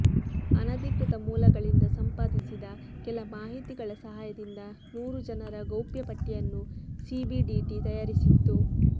ಆನಧಿಕೃತ ಮೂಲಗಳಿಂದ ಸಂಪಾದಿಸಿದ ಕೆಲ ಮಾಹಿತಿಗಳ ಸಹಾಯದಿಂದ ನೂರು ಜನರ ಗೌಪ್ಯ ಪಟ್ಟಿಯನ್ನು ಸಿಬಿಡಿಟಿ ತಯಾರಿಸಿತ್ತು